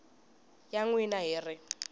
ya n wina hi ri